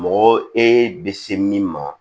Mɔgɔ e bɛ se min ma